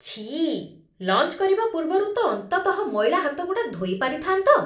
ଛିଃ! ଲଞ୍ଚ୍ କରିବା ପୂର୍ବରୁ ତ ଅନ୍ତତଃ ମଇଳା ହାତଗୁଡ଼ା ଧୋଇ ପାରିଥାନ୍ତ ।